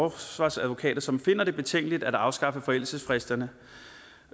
af forsvarsadvokater som finder det betænkeligt at afskaffe forældelsesfristerne